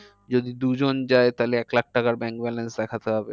যদি দুজন যায় তাহলে এক লাখ টাকার bank blance দেখাতে হবে।